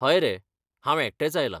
हय रे, हांव एकटेंच आयलां.